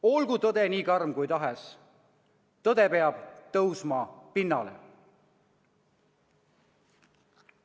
Olgu tõde nii karm kui tahes, tõde peab tõusma pinnale.